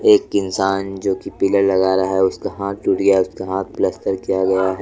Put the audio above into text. एक इंसान जो कि पिलर लगा रहा है उसका हाथ टूट गया है। उसका हाथ पलस्तर किया गया है।